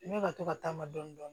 Ne ka to ka taama dɔɔnin dɔɔnin